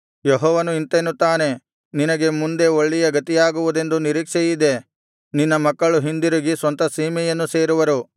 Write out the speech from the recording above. ಯೆಹೋವನು ಇಂತೆನ್ನುತ್ತಾನೆ ನಿನಗೆ ಮುಂದೆ ಒಳ್ಳೆಯ ಗತಿಯಾಗುವುದೆಂದು ನಿರೀಕ್ಷೆಯಿದೆ ನಿನ್ನ ಮಕ್ಕಳು ಹಿಂದಿರುಗಿ ಸ್ವಂತ ಸೀಮೆಯನ್ನು ಸೇರುವರು